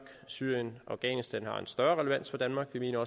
syrien og afghanistan har større relevans for danmark vi mener